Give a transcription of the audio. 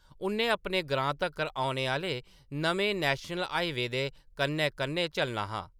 उ’न्नै अपने ग्रां तक्कर औने आह्‌ले नमें नैश्नल हाईवे दे कन्नै-कन्नै चलना हा।